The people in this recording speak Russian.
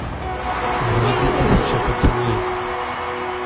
заводи тысяча поцелуев